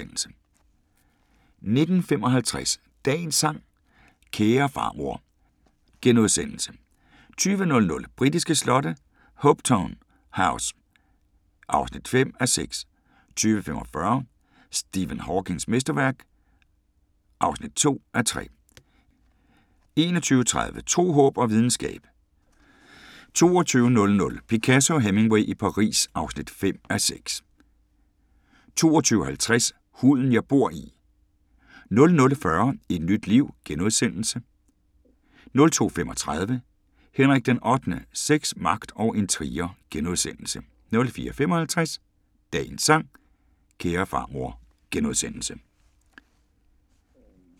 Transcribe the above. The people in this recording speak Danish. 19:55: Dagens sang: Kære farmor * 20:00: Britiske slotte: Hopetoun House (5:6) 20:45: Stephen Hawkings mesterværk (2:3) 21:30: Tro, håb og videnskab 22:00: Picasso og Hemingway i Paris (5:6) 22:50: Huden jeg bor i 00:40: Et nyt liv * 02:35: Henrik VIII: Sex, magt og intriger * 04:55: Dagens sang: Kære farmor *